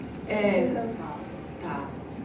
Assim é o que é que te encantava assim? Tá